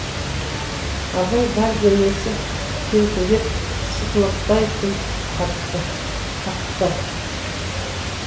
абай бар денесі селкілдеп сықылықтай күліп қапты